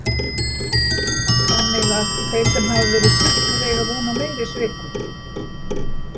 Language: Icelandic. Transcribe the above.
Þannig að þeir sem hafa verið sviknir eiga von á meiri svikum.